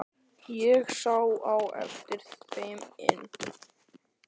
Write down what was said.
Ég sá á eftir þeim inn.